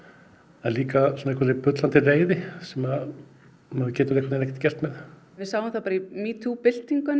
en líka bullandireiði sem maður getur einhvern veginn ekkert gert með við sáum það í metoo byltingunni